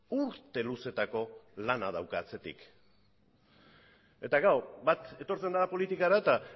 urte luzeetako lana dauka atzetik eta klaro bat etortzen da politikara eta